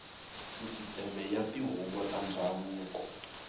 sisiteme ya tihuvo ta ndhavuko